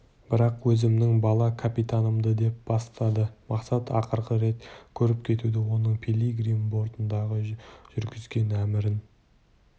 мен өзімнің бала капитанымды деп бастады мақсат ақырғы рет көріп кетуді оның пилигрим бортындағы жүргізген әмірін